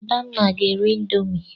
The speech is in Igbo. Adanne ga-eri ịndomii.